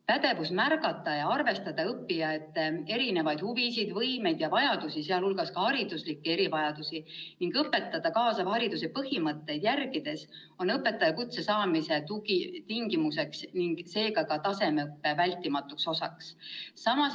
Pädevus märgata ja arvestada õppijate erinevaid huvisid, võimeid ja vajadusi, sh hariduslikke erivajadusi, ning õpetada kaasava hariduse põhimõtteid järgides, on õpetajakutse saamise tingimus ning seega ka tasemeõppe vältimatu osa.